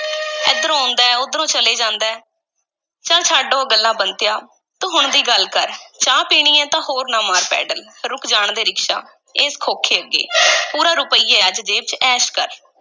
ਏਧਰੋਂ ਆਉਂਦਾ ਹੈ, ਉੱਧਰੋਂ ਚਲੇ ਜਾਂਦਾ ਹੈ, ਚੱਲ ਛੱਡ ਉਹ ਗੱਲਾਂ ਬੰਤਿਆ, ਤੂੰ ਹੁਣ ਦੀ ਗੱਲ ਕਰ, ਚਾਹ ਪੀਣੀ ਹੈ ਤਾਂ ਹੋਰ ਨਾ ਮਾਰ ਪੈਡਲ, ਰੁਕ ਜਾਣ ਦੇ ਰਿਕਸ਼ਾ, ਇਸ ਖੋਖੇ ਅੱਗੇ ਪੂਰਾ ਰੁਪਇਆ ਅੱਜ ਜੇਬ ਵਿੱਚ, ਐਸ਼ ਕਰ।